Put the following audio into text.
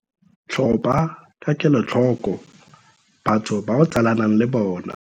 Tlhopha ka kelotlhoko batho ba o tsalanang le bona.